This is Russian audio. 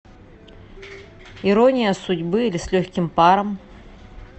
ирония судьбы или с легким паром